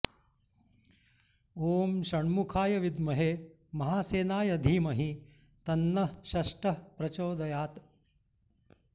ॐ षण्मुखाय विद्महे महासेनाय धीमहि तन्नः षष्ठः प्रचोदयात्